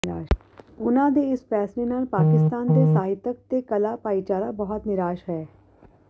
ਉਨ੍ਹਾਂ ਦੇ ਇਸ ਫੈਸਲੇ ਨਾਲ ਪਾਕਿਸਤਾਨ ਦੀ ਸਾਹਿਤਕ ਤੇ ਕਲਾ ਭਾਈਚਾਰਾ ਬਹੁਤ ਨਿਰਾਸ਼ ਹੈ